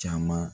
Caman